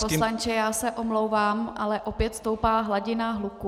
Pane poslanče, já se omlouvám, ale opět stoupá hladina hluku.